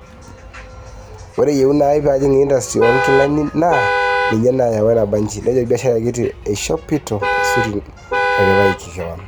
Ore eyieuna aii paajing intastri oo nkilani naa ninye nayawua nabanji', nejo olbiasharai kiti eishopito esuti natiripaka kewon